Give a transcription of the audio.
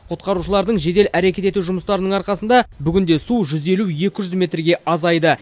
құтқарушылардың жедел әрекет ету жұмыстарының арқасында бүгінде су жүз елу екі жүз метрге азайды